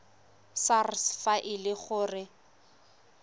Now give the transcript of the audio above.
sars fa e le gore